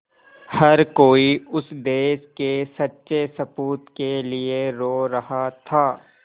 हर कोई उस देश के सच्चे सपूत के लिए रो रहा था